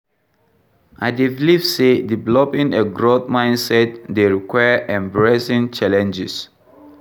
I dey believe say developing a growth mindset dey require embracing challenges,.